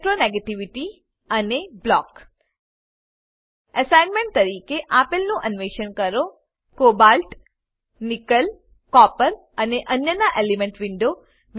electronegativity અને four block assignment તરીકે આપેલનું અન્વેષણ કરો કોબાલ્ટ નિકેલ કોપર અને અન્યનાં એલીમેન્ટલ વિન્ડો